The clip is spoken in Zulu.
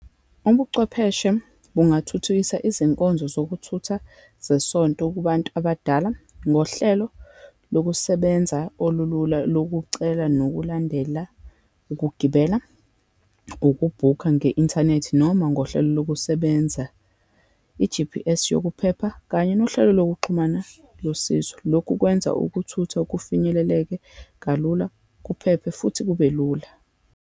Ubuchwepheshe bungathuthukisa izinkonzo zokuthutha zesonto, kubantu abadala ngohlelo lokusebenza olulula lokucela, nokulandela ukugibela, ukubhukha nge-inthanethi, noma ngohlelo lokusebenza, i-G_P_S yokuphepha, kanye nohlelo lokuxhumana losizo. Lokhu kwenza ukuthutha kufinyeleleke kalula, kuphephe, futhi kube lula.